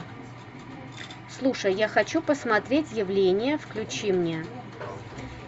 слушай я хочу посмотреть явление включи мне